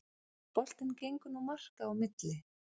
Boltinn gengur nú marka á milli